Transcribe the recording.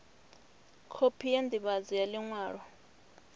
khophi ya ndivhadzo ya liṅwalo